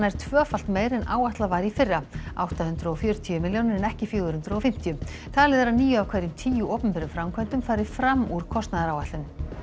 tvöfalt meira en áætlað var í fyrra átta hundruð og fjörutíu milljónir en ekki fjögur hundruð og fimmtíu talið er að níu af hverjum tíu opinberum framkvæmdum fari fram úr kostnaðaráætlun